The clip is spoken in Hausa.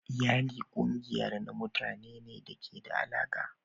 Iyali kungiyar ne na mutane da ke da alaƙa.